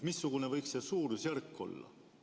Missugune võiks see suurusjärk olla?